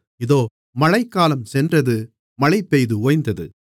இதோ மழைக்காலம் சென்றது மழைபெய்து ஓய்ந்தது